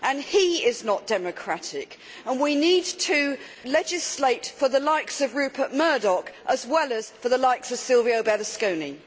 He is not democratic and we need to legislate for the likes of Rupert Murdoch as well as for the likes of Silvio Berlusconi.